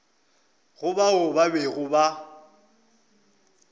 go bao ba bego ba